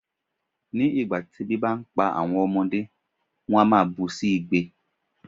Ní ìgbà tí ebi bá ń pa àwọn ọmọdé, wón á bú sí igbe.